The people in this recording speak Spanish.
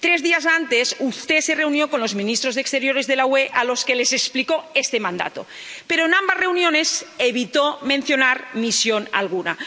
Tres días antes, usted se reunió con los ministros de Exteriores de la UE, a los que les explicó este mandato, pero en ambas reuniones evitó mencionar misión alguna.